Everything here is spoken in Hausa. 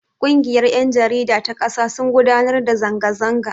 Ƙungiyar yan jarida ta kasa sun gudanar da zanga zanga.